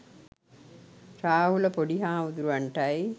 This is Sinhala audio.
රාහුල පොඩි හාමුදුරුවන්ටයි.